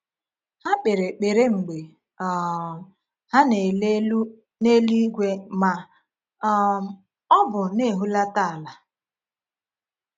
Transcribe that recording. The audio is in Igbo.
Ha kpere ekpere mgbe um ha na-ele elu n’eluigwe ma um ọ bụ na-ehulata ala.